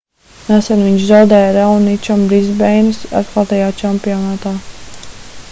nesen viņš zaudēja raoničam brisbeinas atklātajā čempionātā